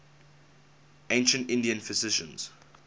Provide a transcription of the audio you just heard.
ancient indian physicians